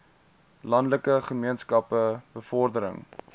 landelike gemeenskappe bevordering